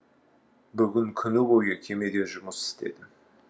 бүгін күні бойы кемеде жұмыс істедім